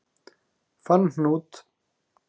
Fann hnút